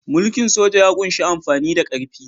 Mulkin soja ya ƙunshi amfani da ƙarfi.